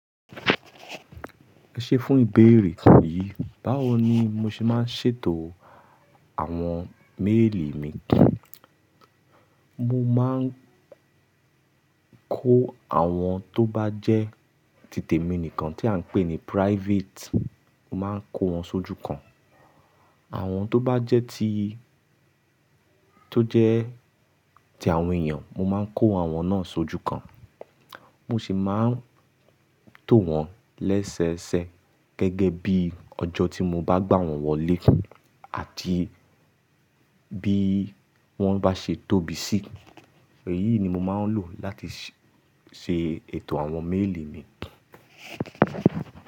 Ẹ ṣé fún ìbéèrè kàn yìí. Báwo ni mo ṣe máa ń ṣètò àwọn méèlì mi? Mo máa ń kó àwọn tó bá jẹ́ títè mi nìkan tí à ń pè ní private, mo máa ń kó wọn sójú kan. Àwọn tó bá jẹ́ tí tó jẹ́ ti àwọn èèyàn, mo máa ń kó àwọn náà sójú kan. Mo sì máa ń tò wọn lẹ́sẹẹsẹ gẹ́gẹ́ bí ọjọ́ tí mo bá gbà wọ́n wọlé àti bí wọ́n bá ṣe tóbi sí. Èyí ni mo máa ń lò láti ṣe ètò àwọn méèlì mi.